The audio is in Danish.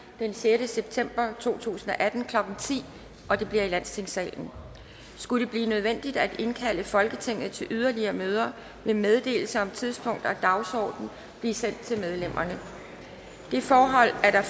den sjette september to tusind og atten klokken ti det bliver i landstingssalen skulle det blive nødvendigt at indkalde folketinget til yderligere møder vil meddelelse om tidspunkt og dagsorden blive sendt til medlemmerne det forhold at der